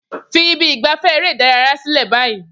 Fi ibi ìgbafẹ́ eré ìdárayá sílẹ̀ báyìí